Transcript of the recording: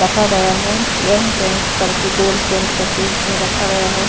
रखा गया है यह पेंट करके गोल्ड पेंट करके इसमें रखा गया है।